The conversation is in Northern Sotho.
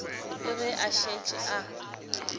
le ge a šetše a